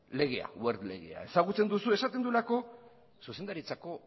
legea wert legea ezagutzen duzu esaten duelako zuzendaritzako